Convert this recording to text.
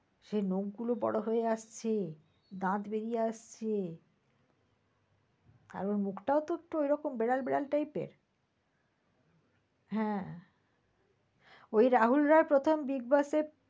সেই নখ গুলো বড় হয়ে আসছে, দাঁত বেড়িয়ে আসছে আর ওর মুখটাও একটু এইরকম বিড়াল বিড়াল type এর, হ্যাঁ ঐ রাহুল রয় প্রথম bigboss এ